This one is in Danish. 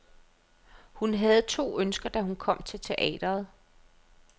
Hun havde to ønsker, da hun kom til teatret.